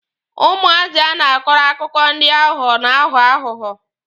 Ụmụazị a na-akọrọ akụkọ ndị aghụghọ na-aghọ aghụghọ.